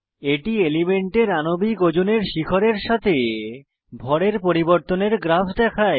এটি এলিমেন্টের আনবিক ওজনের শিখরের সাথে ভরের পরিবর্তনের গ্রাফ দেখায়